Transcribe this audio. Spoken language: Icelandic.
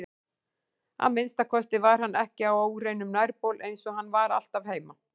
Að minnsta kosti var hann ekki á óhreinum nærbol eins og hann var alltaf heima.